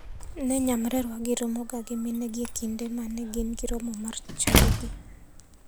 Ne nyamrerwagi romoga gi minegi e kinde mane gin gi romo mag chadigi.